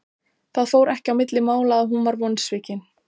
Það fór ekki á milli mála að hún var vonsvikin.